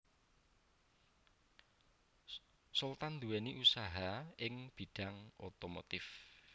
Sultan nduwèni usaha ing bidhang otomotif